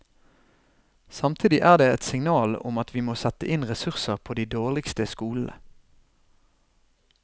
Samtidig er det et signal om at vi må sette inn ressurser på de dårligste skolene.